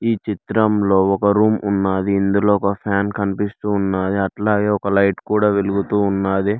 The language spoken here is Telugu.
ఈ చిత్రంలో ఒక రూమ్ ఉన్నాది ఇందులో ఒక ఫ్యాన్ కనిపిస్తూ ఉన్నాది అట్లాగే ఒక లైట్ కూడా వెలుగుతూ ఉన్నాది.